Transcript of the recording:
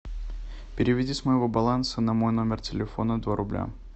переведи с моего баланса на мой номер телефона два рубля